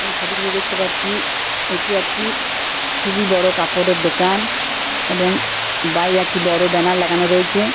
এই ছবিটিতে দেখতে পাচ্ছি এটি একটি খুবই বড় কাপড়ের দোকান এবং বাইরে একটি বড় ব্যানার লাগানো রয়েছে ।